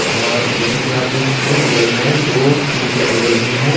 और जैसे की आप देख सकते हैं बगल में दो पूल के टेबल भी हैं।